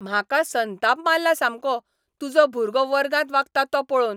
म्हाका संताप मारला सामको तुजो भुरगो वर्गांत वागता तो पळोवन.